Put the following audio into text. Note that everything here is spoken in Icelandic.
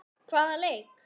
Hvaða leik?